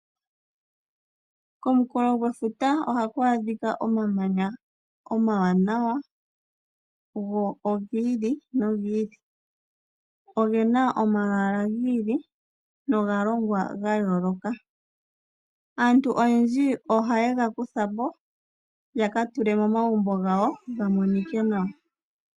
Komunkulo gwefuta ohaku adhika omamanya omawanawa go ogi ili nogi ili ogena omalwaaala giili noga longwa ga yooloka aantu oyendji ohaye ga kutha ya ka tule momagumbo gawo ya nonike nawa.